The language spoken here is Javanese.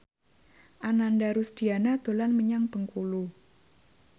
Ananda Rusdiana dolan menyang Bengkulu